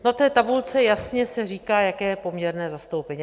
Na té tabulce se jasně říká, jaké je poměrné zastoupení.